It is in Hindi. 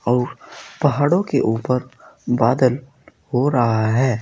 और पहाड़ों के ऊपर बादल हो रहा है।